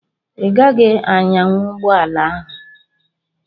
Ị gaghị anyanwu ụgbọala ahụ!